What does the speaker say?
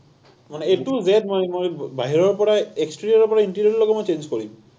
মানে a to z মই, মই বাহিৰৰ পৰা exterior ৰ পৰা interior লৈকে মই change কৰিম।